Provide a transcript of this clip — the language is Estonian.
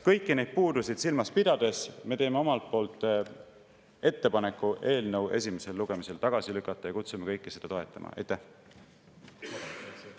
Kõiki neid puudusi silmas pidades me teeme ettepaneku eelnõu esimesel lugemisel tagasi lükata ja kutsume kõiki üles seda toetama.